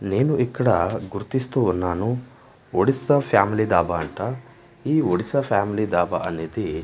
నేను ఇక్కడ గుర్తిస్తూ ఉన్నాను ఒడిస్సా ఫ్యామిలీ దాబా అంట ఈ ఒడిస్సా ఫ్యామిలీ దాబా అనేది.